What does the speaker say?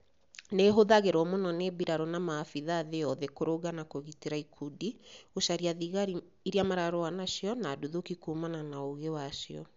Nĩ ĩhũthagĩrũo mũno nĩ mbirarũ na maabitha thĩ yothe kũrũnga na kũgitĩra ikudi, gũcaria thigari iria mararũa nacio, na nduthũki kũmana na ũũgĩ wacio.